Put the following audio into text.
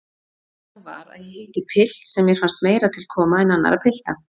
Þannig var að ég hitti pilt sem mér fannst meira til koma en annarra pilta.